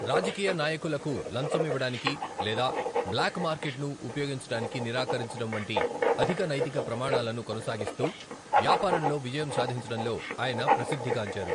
రాజకీయ నాయకులకు లంచం ఇవ్వడానికి లేదా బ్లాక్ మార్కెట్ను ఉపయోగించడానికి నిరాకరించడం వంటి అధిక నైతిక ప్రమాణాలను కొనసాగిస్తూ వ్యాపారంలో విజయం సాధించడంలో ఆయన ప్రసిద్ధిగాంచారు.